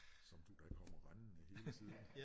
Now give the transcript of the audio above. Som du da kommer rendende hele tiden